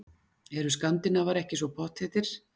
Eru skandinavar ekki svo pottþéttir?